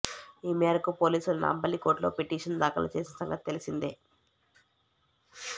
ఈ మేరకు పోలీసులు నాంపల్లి కోర్టులో పిటిషన్ దాఖలు చేసిన సంగతి తెలిసిందే